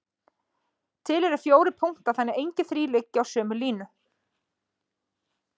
Til eru fjórir punktar þannig að engir þrír liggi á sömu línu.